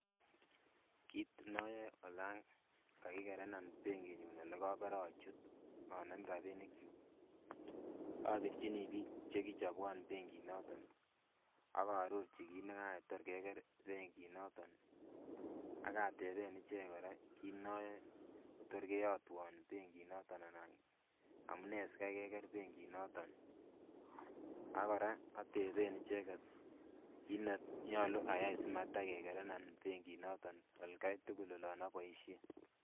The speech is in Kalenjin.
Kit noyoe olan kakikerenan benkit nyun nekibore achut anem rapinik kyuk obirchini biik chekichobwon benkit noton ak aarorchi kit nekayai tor keker benkit noton ak ateben ichek kora kit noyoe kotor keyotwon benkit noton anan amunee sikaikeker benkit noton ak kora oteben icheket kit nenyolu ayai simatakekerenan benkit noton atkai tugul yon oboisien